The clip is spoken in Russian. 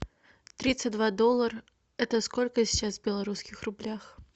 тридцать два доллара это сколько сейчас в белорусских рублях